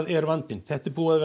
er vandinn þetta er búið að